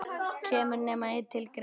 Kemur nema einn til greina?